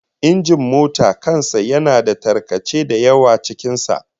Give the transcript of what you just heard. Injin mota kan sa yana da tarkace da yawa cikin sa